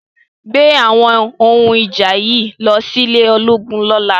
Gbé àwọn ohun ìjà yìí lọ sí ilé ológun lọ́la!